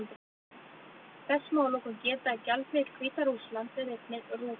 Þess má að lokum geta að gjaldmiðill Hvíta-Rússlands er einnig rúbla.